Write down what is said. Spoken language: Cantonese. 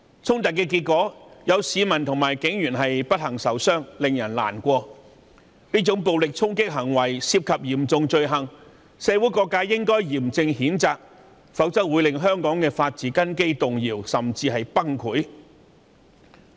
衝突導致市民及警員不幸受傷，令人難過。這種暴力衝擊行為屬嚴重罪行，社會各界應該嚴正譴責，否則香港的法治根基會被動搖，甚至崩潰。